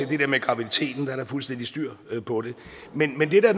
det der med graviditeten er der fuldstændig styr på det men men det der